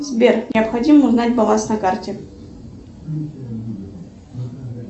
сбер необходимо узнать баланс на карте